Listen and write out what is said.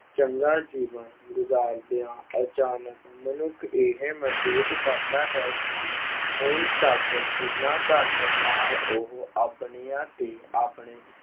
ਚੰਗਾ ਜੀਵਨ ਗੁਜ਼ਾਰਦਿਆਂ ਅਚਾਨਕ ਮਨੁੱਖ ਇਹ ਮਹਿਸੂਸ ਕਰਦਾ ਹੈ ਕਿ ਹੁਣ ਤੱਕ ਜਿੰਨਾ ਧਨ ਨਾਲ ਉਹ ਆਪਣੀਆਂ ਤੇ ਆਪਣੇ